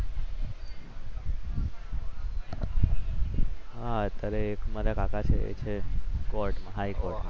અત્યારે એક મારા કાકા છે કોર્ટમાં હાઇકોર્ટમાં